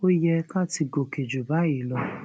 ó yẹ ká ti gòkè ju báyìí lọ